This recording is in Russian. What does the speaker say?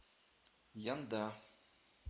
янда